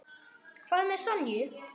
Hvað með Sonju?